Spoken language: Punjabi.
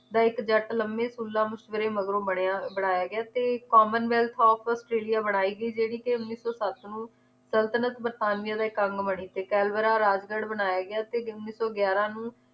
ਦਾ ਇਕ ਜੱਟ ਲੰਮੇ ਤੁਲੰ ਮੁਸ਼ਵਰੇ ਮਗਰੋਂ ਬਣਿਆ ਬਣਾਇਆ ਗਿਆ ਤੇ commonwealth of australia ਬਣਾਈ ਗਈ ਜਿਹੜੀ ਕਿ ਉੱਨੀ ਸੌ ਸੱਤ ਨੂੰ ਸਲਤਨਤ ਵਰਤਾਨੀਆ ਦਾ ਇਕ ਅੰਗ ਬਣੀ ਤੇ ਕੈਨਬਰਾ ਰਾਜਗੜ੍ਹ ਬਣਾਇਆ ਗਿਆ ਤੇ ਉੱਨੀ ਸੌ ਗਿਆਰਾਂ ਨੂੰ